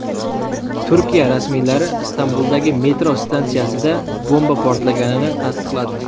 Turkiya rasmiylari Istanbuldagi metro stansiyasida bomba portlaganini tasdiqladi.